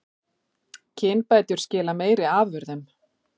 Kynbætur skila meiri afurðum